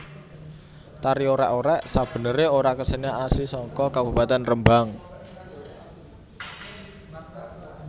Tari Orèk orèk sebenerè ora kesenian asli saka Kabupatèn Rembang